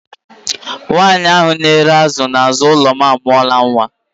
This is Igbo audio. Nwaanyị ahụ na-ere azụ n'azụ ụlọ m amụọla nwa.